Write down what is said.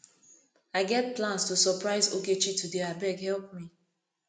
i get plans to surprise ogechi today abeg help me